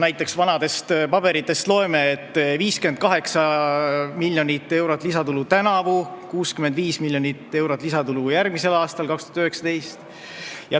Näiteks loeme vanadest paberitest: 58 miljonit eurot lisatulu tänavu ja 65 miljonit eurot lisatulu järgmisel aastal, 2019.